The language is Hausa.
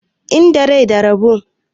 Inda rai da rabo.